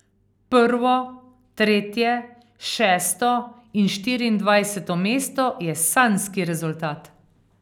Prvo, tretje, šesto in štiriindvajseto mesto je sanjski rezultat.